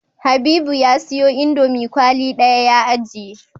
Habibu ya siyo indomie kwali daya ya ajiye